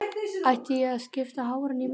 Ætti ég að skipta hárinu í miðju?